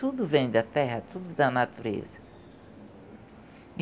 Tudo vem da terra, tudo da natureza.